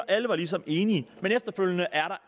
alle var ligesom enige men efterfølgende er